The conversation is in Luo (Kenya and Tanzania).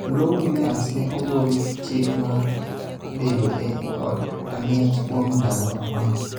Lou Williams ne ogol chik mar bedo e od ang'ech kuom ndalo apar